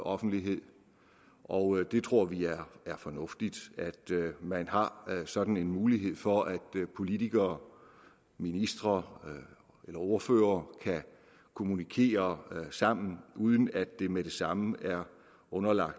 offentlighed og vi tror det er fornuftigt at man har sådan en mulighed for at politikere ministre eller ordførere kan kommunikere sammen uden at det med det samme er underlagt